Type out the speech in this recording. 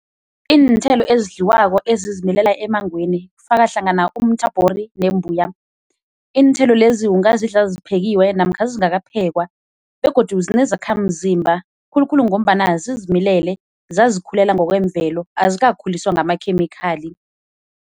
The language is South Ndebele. Iinthelo ezidliwako ezizimilela emangweni kufaka hlangana umthabhori nembuya, iinthelo lezi ungazidla ziphekiwe namkha zingakaphekwa begodu zinezakhamzimba khulukhulu ngombana zizimilele zazikhulela ngokwemvelo azikakhuliswa ngamakhemikhali.